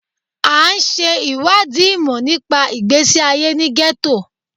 À ń ṣe ìwádìí ìmọ̀ nípa ìgbésí ayé ní gẹ́tò.